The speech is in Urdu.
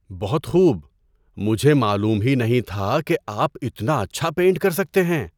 بہت خوب! مجھے معلوم ہی نہیں تھا کہ آپ اتنا اچھا پینٹ کر سکتے ہیں!